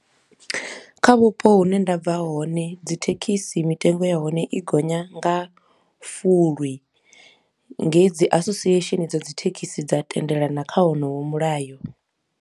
Kha vhupo hune nda bva hone dzi thekhisi mitengo ya hone i gonya nga fulwi nge dzi association dza dzi thekhisi dza tendelana kha honoyo mulayo.